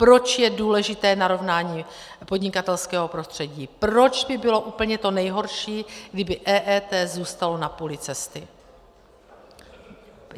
Proč je důležité narovnání podnikatelského prostředí, proč by bylo úplně to nejhorší, kdyby EET zůstalo na půli cesty.